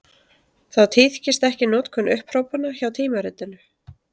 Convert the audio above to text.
Þá tíðkist ekki notkun upphrópana hjá tímaritinu.